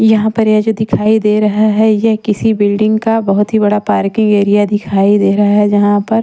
यहाँ पर ये जो दिखाई दे रहा है ये किसी बिल्डिंग का बहुत ही बड़ा पार्किंग एरिया दिखाई दे रहा है जहाँ पर--